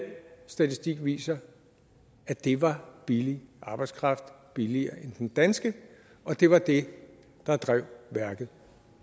statistik viser at det var billig arbejdskraft billigere end den danske og det var det der drev værket